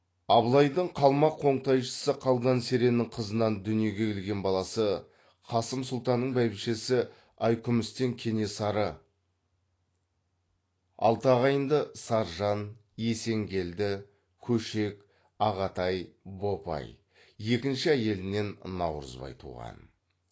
абылайдың қалмақ қоңтайшысы қалдан сереннің қызынан дүниеге келген баласы қасым сұлтанның бәйбішесі айкүмістен кенесары екінші әйелінен наурызбай туған